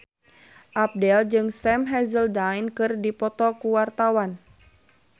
Abdel jeung Sam Hazeldine keur dipoto ku wartawan